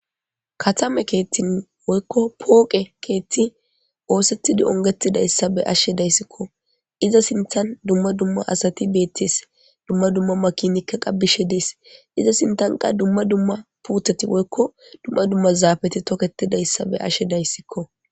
katame keettin woykko pooqe keetti oosethidi ongetida yssa be ashshe dayssikko iza sinthan dumma dumma asati beettes dumma dumma makinikka qabbishe dees iza sintanqa dumma dumma puuthati woykko dumma dumma zaafeti toketida yssa be ashe dayssikko